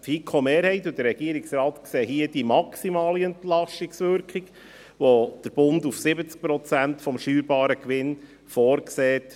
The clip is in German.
Die FiKo-Mehrheit und der Regierungsrat sehen hier eine maximale Entlastungswirkung, welche der Bund auf 70 Prozent des steuerbaren Gewinns vorsieht.